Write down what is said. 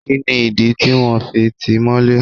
Kini idi tí wọ́n fi ti í mọ́lé?